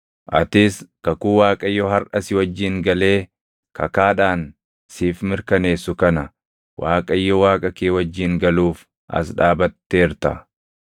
Atis kakuu Waaqayyo harʼa si wajjin galee kakaadhaan siif mirkaneessu kana Waaqayyo Waaqa kee wajjin galuuf as dhaabatteerta;